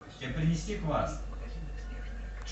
тебе принести квас